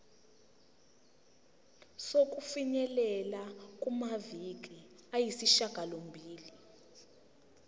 sokufinyelela kumaviki ayisishagalombili